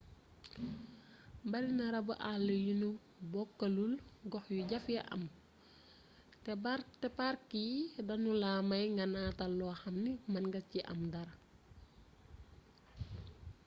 bari na rabu àll yu ñu bokkalul gox yu jafee am te park yi duñu la may nga nataal lo xam ni mën nga ci am dara